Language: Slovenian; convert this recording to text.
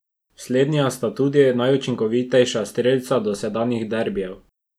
Slednja sta tudi najučinkovitejša strelca dosedanjih derbijev.